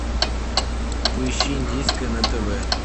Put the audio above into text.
поищи индийское на тв